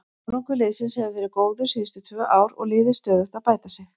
Árangur liðsins hefur verið góður síðustu tvö ár og liðið stöðugt að bæta sig.